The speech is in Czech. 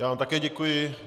Já vám také děkuji.